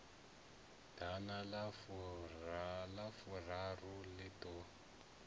ḓana na furaru ri ḓo